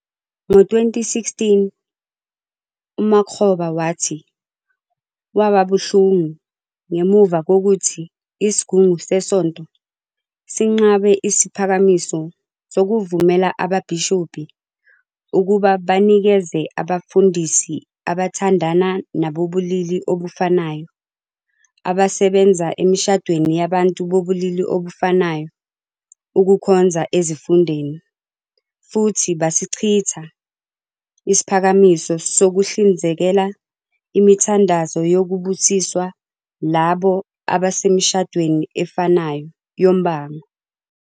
Ngo-2016 uMakgoba wathi waba "buhlungu" ngemuva kokuthi isigungu sesonto sinqabe isiphakamiso sokuvumela ababhishobhi ukuba banikeze abefundisi abathandana nabobulili obufanayo abasebenza emishadweni yabantu bobulili obufanayo ukukhonza ezifundeni futhi basichitha isiphakamiso sokuhlinzekela imithandazo yokubusiswa labo abasemishadweni efanayo yombango.